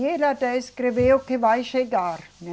E ele até escreveu que vai chegar, né